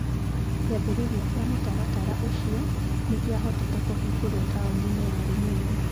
Kĩambĩrĩria kĩa mũtaratara ũcio nĩ kĩahotete kũhingũrwo taũni-inĩ ya Limuru.